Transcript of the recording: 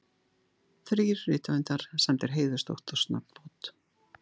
Þrír rithöfundar sæmdir heiðursdoktorsnafnbót